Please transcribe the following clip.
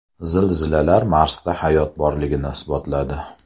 Zilzilalar Marsda hayot borligini isbotladi.